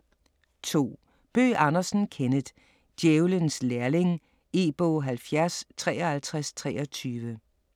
2. Bøgh Andersen, Kenneth: Djævelens lærling E-bog 705323